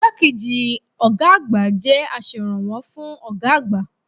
Igbákejì ọ̀gá àgbà jẹ́ aserànwọ́ fún ọ̀gá àgbà.